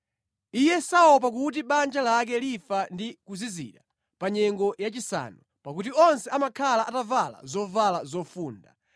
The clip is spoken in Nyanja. Iye saopa kuti banja lake lifa ndi kuzizira pa nyengo yachisanu; pakuti onse amakhala atavala zovala zofunda.